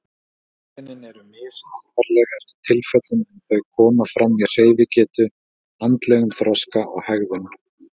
Einkennin eru misalvarleg eftir tilfellum en þau koma fram í hreyfigetu, andlegum þroska og hegðun.